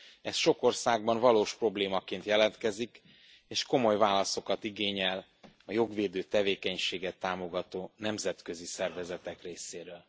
Ez sok országban valós problémaként jelentkezik, és komoly válaszokat igényel a jogvédő tevékenységet támogató nemzetközi szervezetek részéről.